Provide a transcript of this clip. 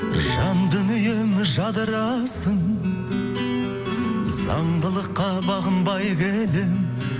жан дүнием жадырасын заңдылыққа бағынбай келемін